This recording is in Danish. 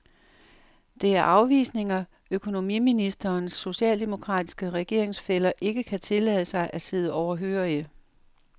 Det er afvisninger, økonomiministerens socialdemokratiske regeringsfæller ikke kan tillade sig at sidde overhørige.